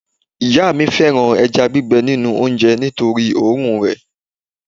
ìyá mi fẹràn eja gbigbe ninu onje nitori orun re